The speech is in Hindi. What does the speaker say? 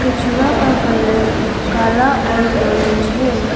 कछुआ का कलर काला और ऑरेंज है।